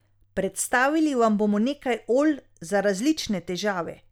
Predstavili vam bomo nekaj olj za različne težave.